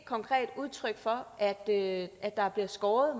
konkret et udtryk for at at der er blevet skåret